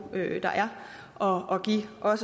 der er og at give